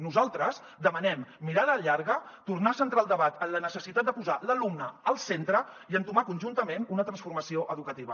nosaltres demanem mirada llarga tornar a centrar el debat en la necessitat de posar l’alumne al centre i entomar conjuntament una transformació educativa